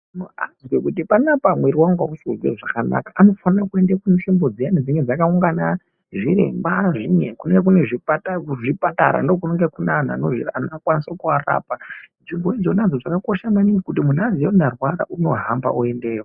Muntu aziye kuti panapa muiri wangu hausi kuzwe zvakanaka anofanira kuenda kunzvimbo dziyeni zvinenge zvakawungana zviremba kunenge kunezvipatara ndokunenge kuvanhu vanokwanisa kuvarapa, nzvimbo izvona zvakakosha maningi kuti munhu aziye kuti ndarwara unohamba oende iyo.